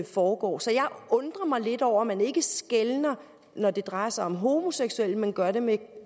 foregår så jeg undrer mig lidt over at man ikke skelner når det drejer sig om homoseksuelle men gør det med